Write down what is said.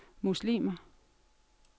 muslimer